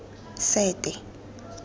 sete